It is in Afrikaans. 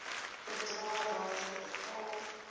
bedrae werklik betaal